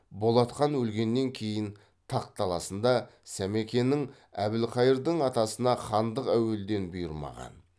болат хан өлгеннен кейін тақ таласында сәмекенің әбілқайырдың атасына хандық әуелден бұйырмаған